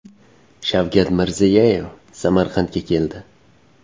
Shavkat Mirziyoyev Samarqandga keldi.